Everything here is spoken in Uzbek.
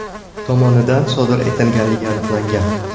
tomonidan sodir etilganligi aniqlangan.